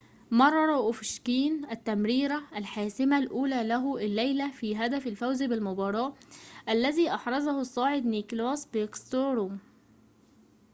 مرر أوفشكين التمريرة الحاسمة الأولى له الليلة في هدف الفوز بالمباراة الذي أحرزه الصاعد نيكلاس باكستروم